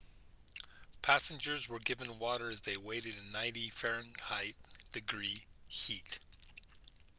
passengers were given water as they waited in 90f-degree heat